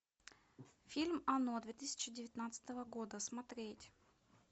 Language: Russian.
фильм оно две тысячи девятнадцатого года смотреть